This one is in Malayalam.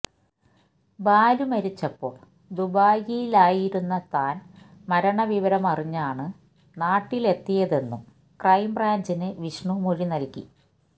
ബാലു മരിച്ചപ്പോള് ദുബായിലായിരുന്ന താന് മരണവിവരമറിഞ്ഞാണ് നാട്ടിലെത്തിയതെന്നും ക്രൈംബ്രാഞ്ചിന് വിഷ്ണു മൊഴി നല്കി